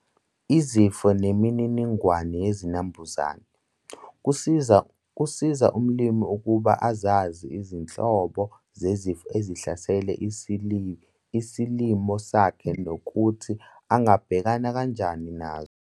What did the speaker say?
Izifo nemininingwane yezinambuzane- Kusiza umlimi ukuba azazi izinhlobo zezifo ezihlasela isilimo sakhe nokuthi angabhekana kanjan nazo.